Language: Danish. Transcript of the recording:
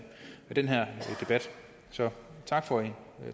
den her debat så tak for